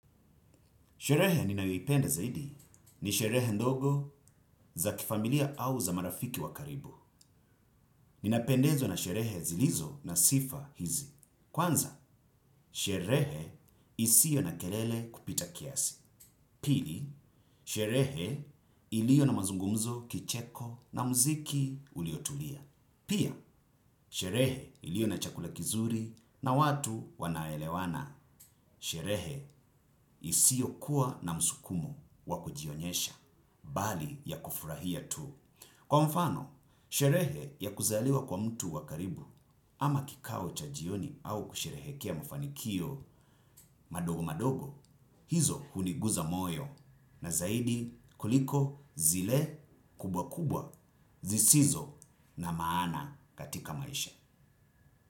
Sherehe ninayoipenda zaidi ni sherehe ndogo za kifamilia au za marafiki wa karibu. Inapendezwa na sherehe zilizo na sifa hizi. Kwanza, sherehe isio na kerele kupita kiasi. Pili, sherehe ilio na mazungumzo kicheko na muziki uliotulia. Pia, sherehe ilio na chakula kizuri na watu wanaelewana. Sherehe isio kuwa na msukumu wa kujionyesha. Bali ya kufurahia tu. Kwa mfano, sherehe ya kuzaliwa kwa mtu wa karibu ama kikao cha jioni au kusherehekea mafanikio madogo madogo, hizo huniguza moyo na zaidi kuliko zile kubwa kubwa zisizo na maana katika maisha.